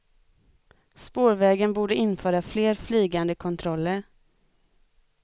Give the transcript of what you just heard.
Spårvägen borde införa fler flygande kontroller.